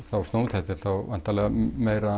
þetta er þá meira